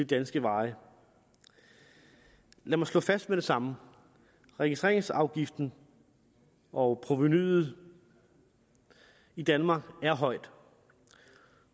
danske veje lad mig slå fast med det samme registreringsafgiften og provenuet i danmark